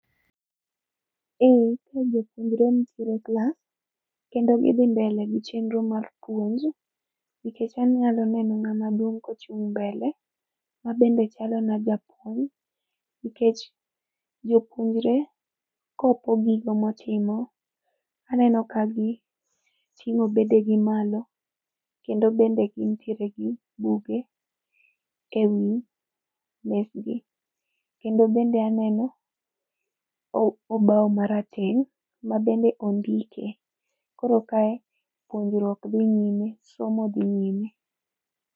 Eeeh, ka jopuonjre nitiere e klas kendo gidhi mbele gi chenro mar puonj kendo anya neno ngama duong kochung mbele mabende chalo na japuonj nikech jopuonjre kopo gigo motimo, aneno ka giitngo bedegi malo kendo bende gintiere gi buge ewi mesgi. Kendo bende aneno obao marateng mabende ondike, koro kae puonjruok dhi nyime, somo dhi nyime